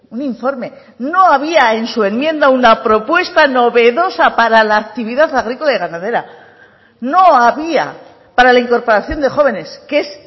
un informe no había en su enmienda una propuesta novedosa para la actividad agrícola y ganadera no había para la incorporación de jóvenes que es